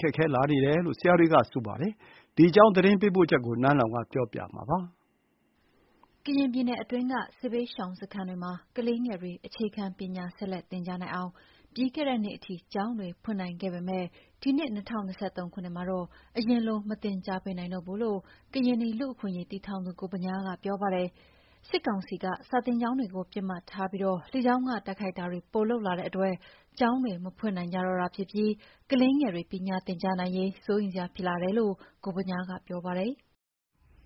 ခက်ခဲလာတယ်လို့ ပညာရေးဆိုင်ရာ ကူညီပေးနေသူတွေက ပြောဆိုကြပါတယ်။ ဒီအကြောင်း သတင်းပေးပို့ချက်ကို နန်းလောဝ်ပြောပြမှာပါ။ ကရင်နီပြည်နယ်အတွင်းက စစ်ဘေးရှောင်စခန်းတွေမှာ ကလေးငယ်တွေ အခြေခံပညာဆက်လက်သင် ကြားနိုင်အောင် ပြီးခဲ့တဲ့နှစ်အထိ ကျောင်းတွေဖွင့်နိုင်ခဲ့ပေမဲ့ ဒီနှစ် ၂၀၂၃ ခုနှစ်မှာတော့ အရင်လို မသင်ကြားပေးနိုင်တော့ဘူးလို့ ကရင်နီ လူ့အခွင့်အရေး တည်ထောင်သူ ကိုဗညားက ပြောပါတယ်။ စစ်ကောင်စီက စာသင်ကျောင်းတွေကို ပစ်မှတ်ထားပြီး လေကြောင်းက တိုက်ခိုက်တာတွေ ပိုလုပ်လာ တဲ့အတွက် ကျောင်းတွေ မဖွင့်နိုင်ကြတော့တာဖြစ်ပြီး ကလေးငယ်တွေ ပညာသင်ကြားနိုင်ရေး စိုးရိမ်စရာ ဖြစ်လာတယ်လို့ ကိုဗညားက ပြောပါတယ်။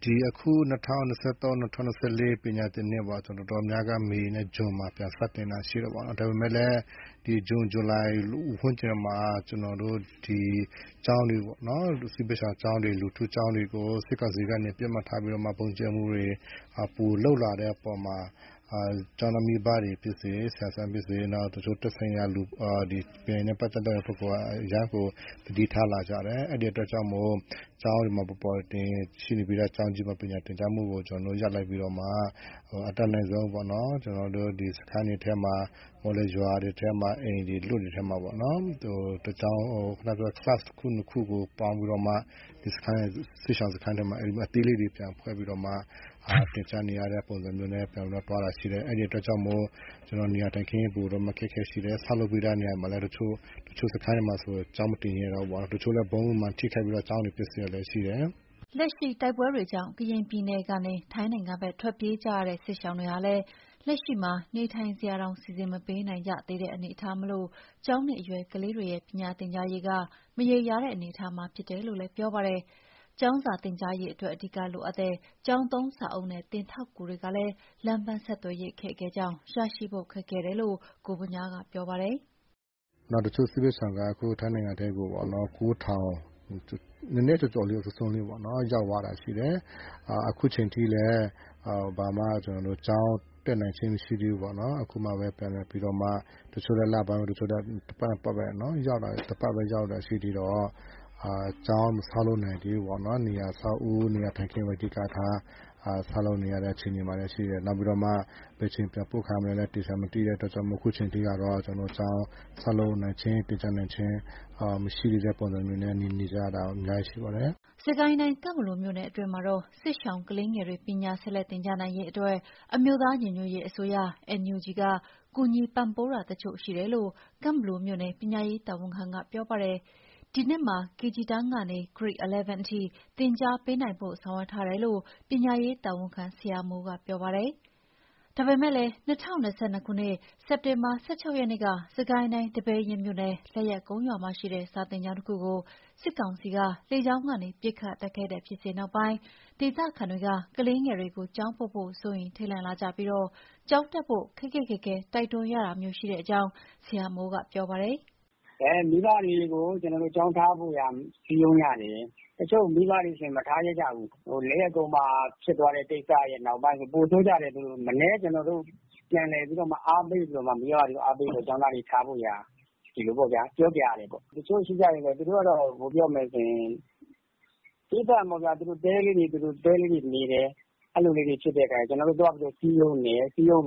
“ဒီအခု ၂၀၂၃−၂၀၂၄ ပညာသင်နှစ်ပေါ့။ တော်တော်များများက မေနဲ့ ဇွန်မှာ ပြန်စတင်တာ ရှိတယ်ပေါ့ နော်။ ဒါပေမဲ့လည်း ဒီဇွန်၊ ဇူလိုင် ဝန်းကျင်မှာ ကျွန်တော်တို့ စစ်ဘေးရှောင်ကျောင်းတွေ၊ လူထုကျောင်းတွေ ကို စစ်ကောင်စီကနေ ပစ်မှတ်ထားပြီးတော့မှ ဗုံးကြဲတာတွေ ပိုလုပ်လာတဲ့ အပေါ်မှာ ကျောင်းသားမိဘတွေ ဖြစ်စေ၊ ဆရာ၊ ဆရာမတွေဖြစ်စေ၊ နောက်သက်ဆိုင်ရာလူတွေက အရမ်းကို သတိထားလာရတယ်။ အဲ့ဒါ ကြောင့်မို့လို့ ကျောင်းတွေမှာ ပေါ်ပေါ်ထင်ထင်ပညာသင်ကြားမှုကို ကျွန်တော်တို့ ရပ်လိုက်ပြီးတော့မှ အတတ်နိုင်ဆုံးပေါ့။ ကျွန်တော်တို့ စခန်းတွေထဲမှာ ရွာတွေထဲက အိမ်အလွတ်တွေထဲမှာပေါ့နော်။ class တစ်ခု နှစ်ခုကို ပေါင်းပြီးတော့မှ စစ်ရှောင်စခန်းထဲမှာ အဲ့လို အသေးလေးတွေ ပြန်ပေါင်းပြီးတော့မှ ပြန်ပြီးတော့သင်ကြားတဲ့ ပုံစံနဲ့ သွားနေကြရတာရှိတယ်။ အဲ့ဒါကြောင့်မို့ ကျွန်တော်တို့ နေရာထိုင်ခင်း အပေါ်မှာ အခက်အခဲရှိတယ်။ ဆောက်လုပ်ပြီးသား တချို့စခန်းတွေမှာဆိုရင် စာမသင်ရဲတော့ဘူးပေါ့နော်။ တချို့စခန်းတွေမှာဆိုရင် ဗုံးတွေကြောင့် ထိခိုက်ပြီးတော့ ကျောင်းတွေ ပျက်စီးကုန်တာတွေလည်း ရှိတယ်။” လက်ရှိတိုက်ပွဲတွေကြောင့် ကရင်နီပြည်နယ်ကနေ ထိုင်းနိုင်ငံဖက် ထွက်ပြေးကြရတဲ့ စစ်ရှောင်တွေဟာ လည်း လက်ရှိမှာနေထိုင်စရာတောင် စီစဥ်မပေးနိုင်ကြသေးတဲ့ အနေအထားမို့ ကျောင်းနေအရွယ်ကလေး တွေရဲ့ ပညာသင်ကြားရေးက မရေရာတဲ့ အနေအထားဖြစ်တယ်လို့ ပြောပါတယ်။ ကျောင်းစာသင်ကြား ရေးအတွက် အဓိကလိုအပ်တဲ့ ကျောင်းသုံးစာအုပ်နဲ့ သင်ထောက်ကူတွေကလည်း လမ်းပန်းဆက်သွယ်ရေး အခက်ခဲကြောင့် ရရှိဖို့ ခက်ခဲတယ်လို့ ကိုဗညားက ပြောပါတယ်။ “နောက်တစ်ခုက စစ်ဘေးရှောင်တွေက ထိုင်းနိုင်ငံထဲကို ၉၀၀၀ နည်းနည်းစွန်းစွန်းလေးလောက် ရောက်သွားတယ်ပေါ့နော်။ အခုအချိန်ထိလည်း ကျွန်တော်တို့ ကျောင်းတက်နိုင်ခြင်း မရှိသေးဘူးပေါ့နော်။ အခုမှပဲ ပြန်လည်ပြီးတော့မှ တချို့ကလည်း လပိုင်း၊ တချို့ကလည်း တစ်ပတ်နှစ်ပတ်ပဲ ရောက်တာရှိသေး တော့ ကျောင်းမရှိသေးဘူးပေါ့။ အဆောက်အဦး နေရာထိုင်ခင်းပဲ အဓိကထား ဆောက်လုပ်နေရတဲ့ အခြေအနေရှိတယ်။ နောက်ပြီးတော့မှ ဘယ်အချိန် ပြန်ပို့ခံရမလဲ မသိတဲ့ခါကျတော့ ကျောင်းဆောက် လုပ်နိုင်ခြင်း သင်ကြားနိုင်ခြင်းမရှိဘဲနဲ့ နေနေရတာ အများကြီးရှိပါတယ်။” စစ်ကိုင်းတိုင်း၊ ကန့်ဘလူမြို့နယ် အတွင်းမှာတော့ စစ်ရှောင်ကလေးငယ်တွေ ပညာဆက်လက်သင်ကြား နိုင်ရေး အတွက် အမျိုးသားညီညွတ်ရေး အစိုးရ NUG က ကူညီပံ့ပိုးတာတချို့ ရှိတယ်လို့ ကန့်ဘလူမြို့နယ် ပညာရေးတာဝန်ခံက ပြောပါတယ်။ ဒီနှစ်မှာ KG တန်းကနေ Grate 11 အထိ သင်ကြားပေးနိုင်ဖို့ ဆောင်ရွက်ထားတယ်လို့ ပညာရေးတာဝန်ခံ ဆရာမိုးက ပြောပါတယ်။ ဒါပေမဲ့ ၂၀၂၂ စက်တင်ဘာ ၁၆ ရက်နေ့က စစ်ကိုင်းတိုင်း ဒီပဲယင်းမြို့နယ်၊ လက်ယက်ကုန်းရွာမှာရှိတဲ့ စာသင်ကျောင်းတခုကို စစ်ကောင်စီက လေကြောင်းကနေ ပစ်ခတ်တိုက်ခိုက်တဲ့ ဖြစ်စဥ်နောက်ပိုင်းမှာ ဒေသခံတွေက ကလေးငယ်တွေကို ကျောင်းပို့ဖို့ စိုးရိမ်ထိတ်လန့်လာကြပြီး ကျောင်းတက်ဖို့ ခက်ခက်ခဲခဲ တိုက်တွန်းရတာမျိုး ရှိတဲ့အကြောင်း ဆရာမိုးက ပြောပါတယ်။ “ကျောင်းသားတွေကို ကျောင်းထားဖို့ရာ မိဘတွေကို စည်းရုံးရတယ်။ တချို့မိဘတွေဆို မထားရဲကြဘူး။ လက်ယက်ကုန်းမှာ ဖြစ်သွားတဲ့ နောက်ပိုင်းဆို ပိုဆိုးကြတယ်။ မနည်းပြောရတယ်။ ကျွန်တော်တို့ ပြန်ပြီးတော့ အားပေးပြီးတော့မှ မိဘတွေကို ကျောင်းထားဖို့ရာ ပြောရတာပေါ့။ တချို့ကျတော့ သူတို့က သူတို့တဲလေးတွေနဲ့ သီးသန့်နေတယ်။ ကျွန်တော်တို့ သွားပြီး စဉ်းရုံးရ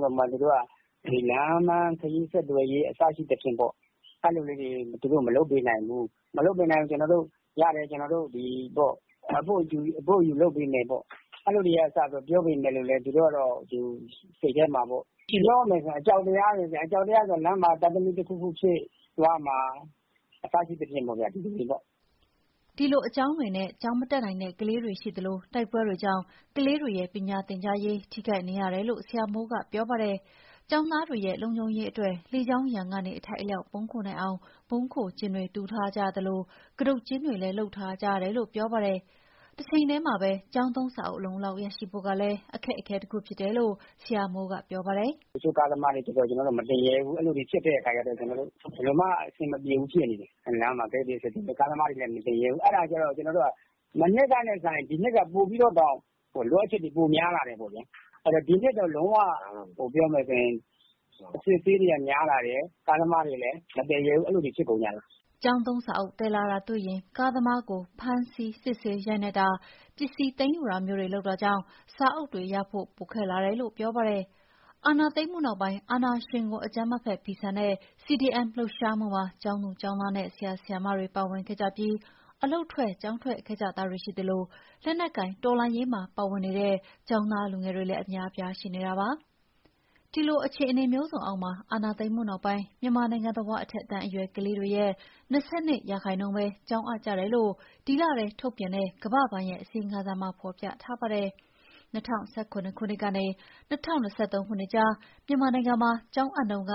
တာပေါ့။ ဒီလမ်းပန်းခရီး ဆက်သွယ်ရေး အစရှိသဖြင့်ပေါ့။ အဲ့လိုလေးတွေ သူတို့ မလုပ်ပေးနိုင်ဘူး။ ရတယ် ကျွန်တော်တို့အပို့အယူ လုပ်ပေးမယ်ပေါ့၊ အဲ့လိုတွေက စလို့ ပြောပေမဲ့လို့လည်း သူတို့တွေက အကြောက်တရားတွေဗျ။ လမ်းမှာ သားသမီးတခုခု ဖြစ်သွားမှာ စိုးတာ၊ စသဖြင့်ပေါ့ဗျာ။” ဒီလိုအကြောင်းတွေနဲ့ ကျောင်းမတတ်နိုင်တဲ့ ကလေးတွေ ရှိသလို တိုက်ပွဲတွေကြောင့်လည်း ကလေးတွေရဲ့ ပညာသင်ကြားရေးထိခိုက်နေ ရတယ်လို့ ဆရာမိုးက ပြောပါတယ်။ ကျောင်းသားတွေရဲ့ လုံခြုံရေးအတွက် လေကြောင်းရန်ကနေအထိုက်အလျောက် ပုန်းခိုနိုင်အောင် ဗုံးခိုကျင်းတွေ တူးထားကြရသလို၊ ကတုတ် ကျင်းတွေလည်း လုပ်ထားကြရတယ်လို့ ပြောပါတယ်။ တချိန်တည်းမှာပဲ ကျောင်းသုံး စာအုပ် အလုံအလောက်ရဖို့ကလည်း အခက်အခဲ တခုဖြစ်တယ်လို့ ဆရာမိုးက ပြောပါတယ်။ “တချို့ကားသမားတွေကျတော့ (ကျောင်းသုံးစာအုပ်တွေကို) မတင်ရဲဘူး။ အဲ့တော့ ဘယ်လိုမှအဆင် မပြေဘူး ဖြစ်နေတယ်။ လမ်းမှာ အစစ်အဆေးတွေ ကလည်း များနေတဲ့ ခါကျတော့ ကျွန်တော်တို့က မနှစ်ကနဲ့ စာရင် ဒီနှစ်က ပိုပြီးတော့တောင် လိုအပ်ချက်တွေ ပိုများလာတယ်ပေါ့ဗျာ။ ဒီနှစ်ကတော့ လုံးဝ အစစ်အဆေးတွေက များလာတယ်။ ကားသမားတွေလည်း မသယ်ရဲဘူး၊ အဲ့လိုတွေ ဖြစ်ကုန်ကြတာ။” ကျောင်းသုံးစာအုပ် သယ်လာတာ တွေ့ရင် ကားသမားကို ဖမ်းဆီးစစ်ဆေးရိုက်နှက်တာ၊ ပစ္စည်းသိမ်းယူတာမျိုးတွေ လုပ်တာကြောင့် စာအုပ်တွေ ရရှိဖို့ ပိုခက်လာတယ်လို့ ပြောပါတယ်။ အာဏာသိမ်းမှုနောက်ပိုင်း အာဏာရှင်ကို အကြမ်းမဖက် ဖီဆန်တဲ့ CDM လှုပ်ရှားမှုမှာ ကျောင်းသူ၊ ကျောင်းသားနဲ့ ဆရာ၊ဆရာမတွေပါဝင်ခဲ့ကြပြီး အလုပ်ထွက် ကျောင်းထွက်ခဲ့ကြတာတွေ ရှိသလို၊ လက်နက်ကိုင် တော်လှန်ရေးမှာ ပါဝင်နေတဲ့ ကျောင်းသားလူငယ်တွေ အများအပြား ရှိနေတာပါ။ ဒီလို အခြေအနေမျိုးစုံအောက်မှာ အာဏာသိမ်းမှုနောက်ပိုင်း မြန်မာနိုင်ငံတဝန်း အထက်တန်းအရွယ် ကလေးတွေရဲ့ ၂၂ ရာခိုင်နှုန်းပဲ ကျောင်းအပ်ကြတယ်လို့ ဒီလထဲ ထုတ်ပြန်တဲ့ ကမ္ဘာ့ဘဏ်ရဲ့ အစီရင်ခံစာမှာ ဖော်ပြထားပါတယ်။ ၂၀၁၇ ကနေ ၂၀၂၃ ကြား မြန်မာနိုင်ငံမှာ ကျောင်းအပ်နှုန်း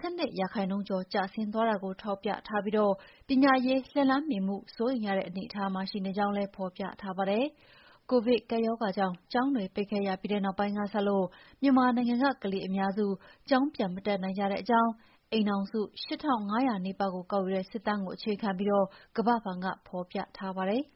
၁၂ ရာခိုင်နှုန်းကျော် ကျဆင်းသွားတာကို ထောက်ပြထားပြီး ပညာရေး လက်လှမ်းမီမှု စိုးရိမ်ရတဲ့ အခြေအနေမှာရှိကြောင်း ဖော်ပြထားပါတယ်။ ကိုဗစ်ကပ်ရောဂါကြောင့် ကျောင်းတွေပိတ်ခဲ့ရပြီးနောက် ပိုင်းကစလို့ မြန်မာနိုင်ငံက ကလေးအများစု ကျောင်းပြန်မတက်ကြတဲ့အကြောင်း အိမ်ထောင်စု ၈ ထောင့် ၅ ရာနီးပါးကို ကောက်ယူတဲ့ စစ်တမ်းကို အခြေခံပြီး ကမ္ဘာ့ဘဏ်က ဖော်ပြထားပါတယ်။